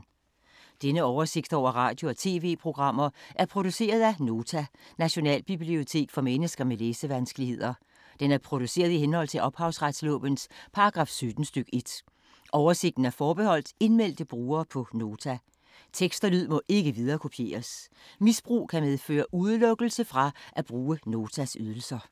Denne oversigt over radio og TV-programmer er produceret af Nota, Nationalbibliotek for mennesker med læsevanskeligheder. Den er produceret i henhold til ophavsretslovens paragraf 17 stk. 1. Oversigten er forbeholdt indmeldte brugere på Nota. Tekst og lyd må ikke viderekopieres. Misbrug kan medføre udelukkelse fra at bruge Notas ydelser.